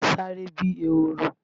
Sáré bíi ehoro!